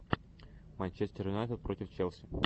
манчестер юнайтед против челси